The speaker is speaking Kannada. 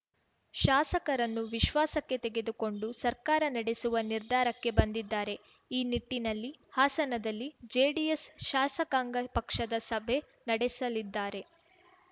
ಶಾಸಕರನ್ನು ವಿಶ್ವಾಸಕ್ಕೆ ತೆಗೆದುಕೊಂಡು ಸರ್ಕಾರ ನಡೆಸುವ ನಿರ್ಧಾರಕ್ಕೆ ಬಂದಿದ್ದಾರೆ ಈ ನಿಟ್ಟಿನಲ್ಲಿ ಹಾಸನದಲ್ಲಿ ಜೆಡಿಎಸ್‌ ಶಾಸಕಾಂಗ ಪಕ್ಷದ ಸಭೆ ನಡೆಸಲಿದ್ದಾರೆ